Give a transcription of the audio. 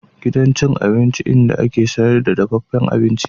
Gidan cin abinci inda ake sayar da dafaffen abinci